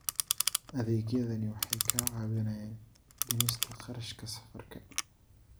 Adeegyadani waxay kaa caawinayaan dhimista kharashka safarka.